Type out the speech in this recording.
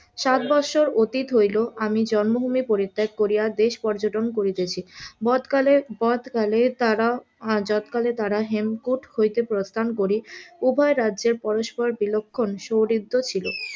ষাট বৎসর হইল আমি জন্মভুমি পরিত্যাগ করিয়া দেশ পর্যটন করিতেছি যৎকালের যৎকালের তারা যৎকালে তারা হেমকূট হইতে প্রস্থান করি উভয় রাজ্যের বিলক্ষণ সৌহৃদ্য ছিল,